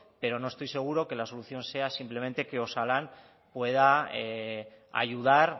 pero no estoy seguro que la solución sea simplemente que osalan pueda ayudar